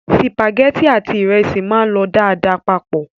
Sìpàgẹ́tì àti ìrẹsì máa ń lọ dáadáa papọ̀.